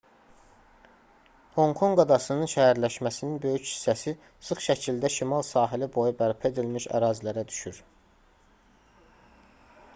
honkonq adasının şəhərləşməsinin böyük hissəsi sıx şəkildə şimal sahili boyu bərpa edilmiş ərazilərə düşür